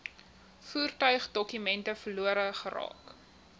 voertuigdokumente verlore geraak